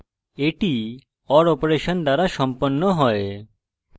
এটি or operation দ্বারা সম্পন্ন হয়